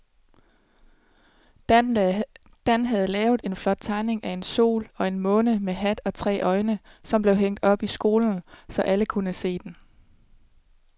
Dan havde lavet en flot tegning af en sol og en måne med hat og tre øjne, som blev hængt op i skolen, så alle kunne se den.